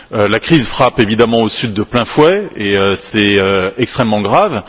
La crise frappe, évidemment, au Sud de plein fouet et c'est extrêmement grave.